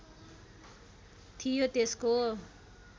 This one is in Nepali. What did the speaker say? थियो त्यसको